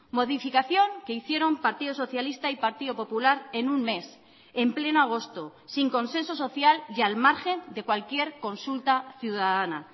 modificación que hicieron partido socialista y partido popular en un mes en pleno agosto sin consenso social y al margen de cualquier consulta ciudadana